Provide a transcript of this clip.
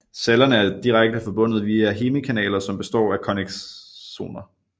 Cellerne er direkte forbundet via hemikanaler som består af connexoner